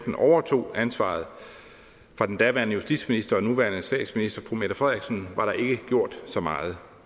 overtog ansvaret fra den daværende justitsminister og nuværende statsminister fru mette frederiksen var der ikke gjort så meget